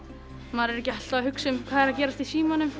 maður er ekki alltaf að hugsa um hvað er að gerast í símanum